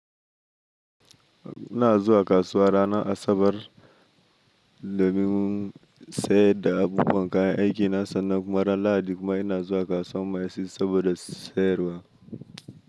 Ina zuwa kasuwa rana Asabar domin sayar da abubuwan kayan aikina sannan kuma ran Lahadi kuma ina zuwa kasuwar maisis saboda sayarwa.